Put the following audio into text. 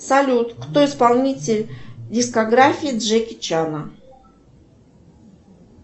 салют кто исполнитель дискографии джеки чана